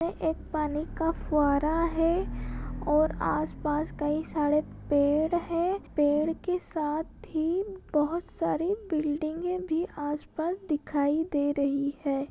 यह एक पानी का फुवारा है और आसपास कई सारे पेड़ है पेड़ के साथ ही बहुत सारी बिल्डिंगे भी आसपास दिखाई दे रही हैं।